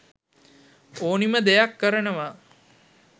ඕනිම දෙයක් කරනවා.